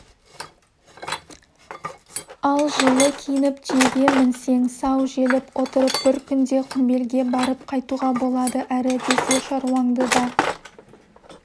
ал жылы киініп түйеге мінсең сау желіп отырып бір күнде құмбелге барып қайтуға болады әрі десе шаруаңды да